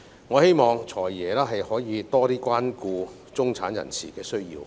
我希望"財爺"可以更多關顧中產人士的需要。